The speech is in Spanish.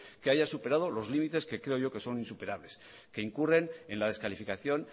que haya superado los límites que creo yo que son insuperables que incurren en la descalificación